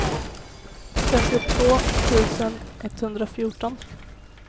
femtiotvå tusen etthundrafjorton